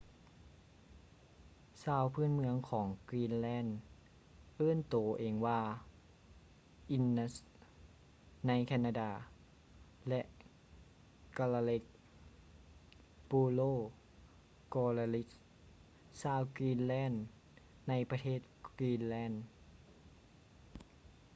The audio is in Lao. ຊາວພື້ນເມືອງຂອງ greenland ເອີ້ນໂຕເອງວ່າ inuit ໃນ canada ແລະ kalaalleq plural kalaallit ຊາວ greenland ໃນປະເທດ greenland